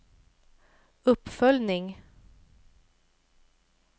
uppföljning